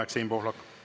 Aeg, Siim Pohlak!